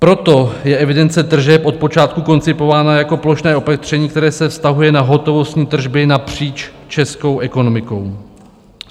Proto je evidence tržeb od počátku koncipována jako plošné opatření, které se vztahuje na hotovostní tržby napříč českou ekonomikou.